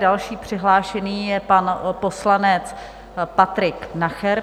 Další přihlášený je pan poslanec Patrik Nacher.